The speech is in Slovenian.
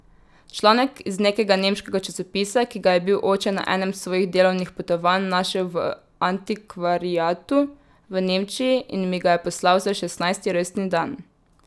Članek iz nekega nemškega časopisa, ki ga je bil oče na enem svojih delovnih potovanj našel v antikvariatu v Nemčiji in mi ga je poslal za šestnajsti rojstni dan.